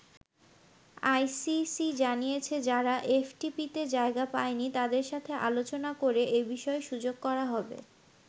ICC জানিয়েছে যারা এফটিপিতে জায়গা পায়নি তাদের সাথে আলোচনা করে এ বিষয়ে সুযোগ করা হবে।